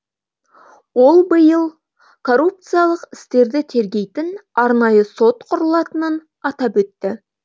ол биыл коррупциялық істерді тергейтін арнайы сот құрылатынын атап өтті